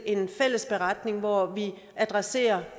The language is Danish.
en fælles beretning hvor vi adresserer